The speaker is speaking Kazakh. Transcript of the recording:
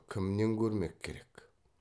кімнен көрмек керек